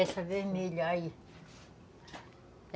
Essa vermelha aí.